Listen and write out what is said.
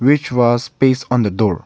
which was paste on the door.